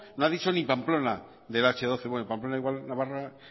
no ha dicho ni pamplona del hache doce bueno pamplona igual navarra